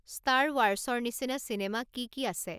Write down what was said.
star ৱাৰ্চৰ নিচিনা cinema কি কি আছে